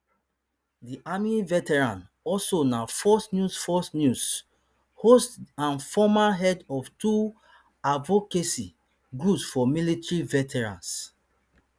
di army veteran also na fox news fox news host and former head of two advocacy groups for military veterans